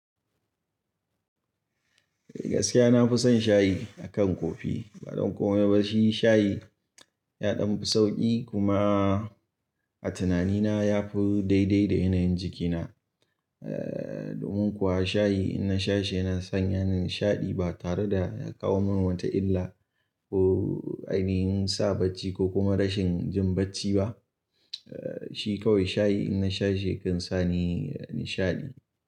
Gaskiya nafison shayi akan kofi. Ba don komai ba, shi shayi ya ɗan fi sauƙi kuma a tunanina yafi daidai da yanayin jikina. Domin kuwa shayi in na shashi yana sanya ni nishaɗi ba tare da ya kawo min wata illa ko ainihin sa bacci ko kuma rashin jin bacci ba. Shi kawai shayi in na shashi yakan sa ni nishaɗi.